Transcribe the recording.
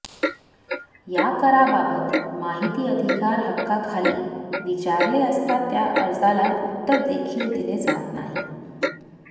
या कराबाबत माहिती अधिकार हक्काखाली विचारले असता त्या अर्जाला उत्तर देखील दिले जात नाही